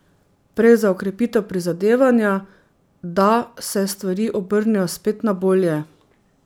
Prej za okrepitev prizadevanja, da se stvari obrnejo spet na bolje.